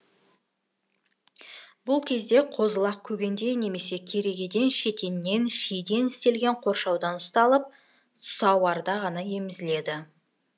бұл кезде қозы лақ көгенде немесе керегеден шетеннен шиден істелген қоршауда ұсталып сауарда ғана емізіледі